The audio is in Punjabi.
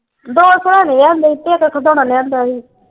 ਦੋ ਸਰਾਣੇ ਲਿਆਂਦੇ ਸੀ ਤੇ ਇਕ ਖਿਡੌਣਾ ਲਿਆਂਦਾ ਸੀ।